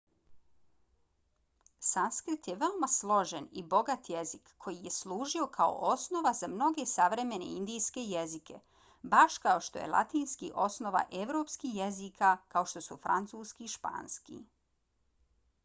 sanskrit je veoma složen i bogat jezik koji je služio kao osnova za mnoge savremene indijske jezike baš kao što je latinski osnova evropskih jezika kao što su francuski i španski